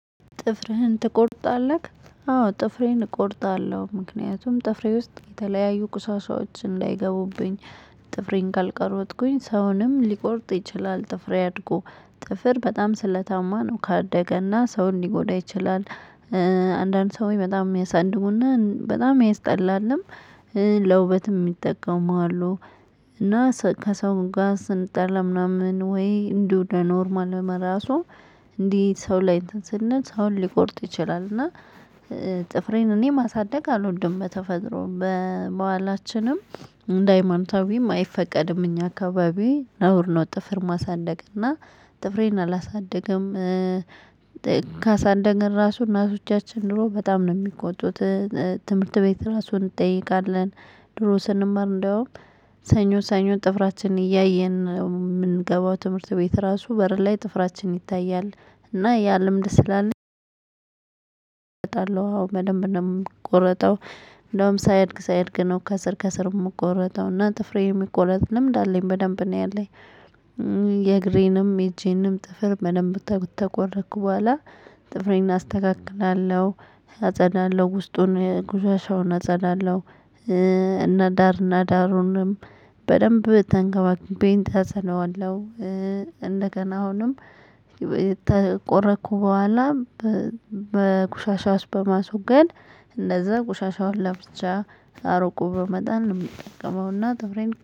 ጥፍርህን ትቆርጣለህ? አዎ ጥፍሬን እቆርጣለሁ። ምክንያቱም ጥፍሬ ውስጥ የተለያዩ ቁሳሻዎች እንዳይገቡብኝ። ጥፍሬን ካልቀረጥኩኝ ሰውንም ሊቆርጥ ይችላል። ጥፍሬ አድጎ ጥፍር በጣም ስለታማ ነው ካደገና ሰው ሊጎዳ ይችላል። አንዳንድ ሰው በጣም የሚያሳድጉና በጣም ያስጠላልም ለውበትም ይጠቀማሉ። እና ሰ ከሰውን ጋር ስንጠላ ምናምን ወይ እንደው ኖርማል ለመራሱ እንዴት ሰው ላይ ስንል ሰው ሊቆርጥ ይችላል። እና ጥፍሬን እኔ ማሳደግ አልወድ። በተፈጥሮ በበሀላችንም እንደ ሃይማኖታዊም አይፈቀድም። እኛ አካባቢ ነውር ነ። ጥፍር ማሳደግ እና ጥፍሬን አላሳደገም። ካሳደግን እራሱ እናቶቻችን ድሮ በጣም ነው የሚቆጡት እ እ ትምህርት ቤት ራሱን እንጠይቃለን። ድሮ ስንማር እንደውም ሰኞ ሰኞ ጥፍራችንን እያየን ነው የምንገባው ትምህርት ቤት ራሱ በር ላይ ጥፍራችን ይታያ። እና ያ ልምድ ስላለ እቆረጣለሁ አዎ በደንብ ነው ምቆረጠው እንደውም ሳይድግ ሳይድግ ነው ከስር ከስር የምቆረጠው ጥፍሬ የሚቆረጥ ልምድ አለኝ በደንብ በደንም ነው ያለኝ የእግሬንም የእጄንም ጥፍር በደንብ ተ ከተቆረኩ በኋላ ጥፍሬን አስተካክላለሁ አጸዳለ። ውስጡን ቆሻሻውን አጸላለው እና ዳር እና ዳሩንም በደንብ ተንከባክቤን ተስለዋለው እንደገና አሁንም የተቆረኩ በኋላም በቁሻሻው ውስጥ በማስወገድ እንደዛ ቁሻሻውን ለብቻ አርቆ በመጣን ነው የምጠቀመው እና ጥፍሬን እቆ